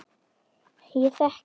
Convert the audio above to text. Ég þekki